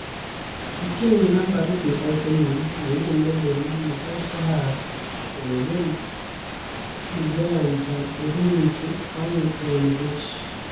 Kecheng'e nambarit nebo somok neibe medal nebo shaba kobel Uganda Burundi oeng eng buch